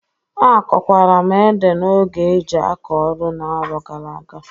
Akọkwara m ede n'oge e jị akọ ọrụ n'aro gara aga.